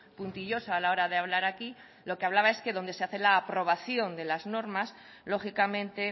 puntillosa a la hora de hablar aquí lo que hablaba es que donde se hace la aprobación de las normas lógicamente